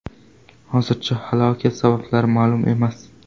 Hozircha halokat sabablari ma’lum emas.